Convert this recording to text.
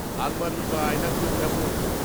আলমারি বা আয়নাগুলো কেমন?